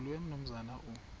nzulu umnumzana u